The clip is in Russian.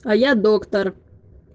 а я доктор